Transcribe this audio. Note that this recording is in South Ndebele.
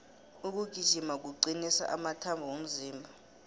ukugijima kucnisa amathambo womzimba